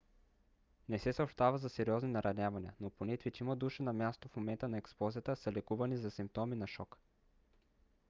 не се съобщава за сериозни наранявания но поне петима души на мястото в момента на експлозията са лекувани за симптоми на шок